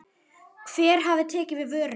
Hver hafi tekið við vörunni?